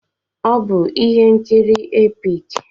Ọ bụ ihe nkiri epik.